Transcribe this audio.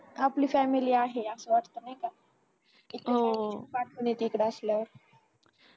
आपली family आहे असं वाटत नाही का खुप आठवण येते इकड असल्यावर